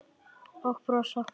Og brosa.